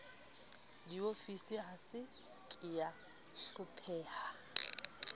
diofisi a se kea hlopheha